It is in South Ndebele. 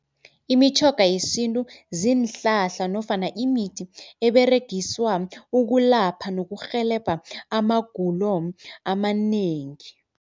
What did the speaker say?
Imitjhoga yesintu ziinhlahla nofana imithi eberegiswa ukulapha nokurhelebha amagulo amanengi.